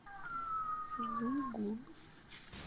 цзыгун